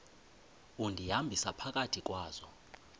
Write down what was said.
undihambisa phakathi kwazo